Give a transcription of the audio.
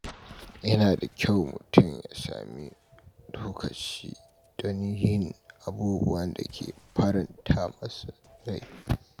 Yana da kyau mutum ya sami lokaci don yin abubuwan da ke faranta masa rai.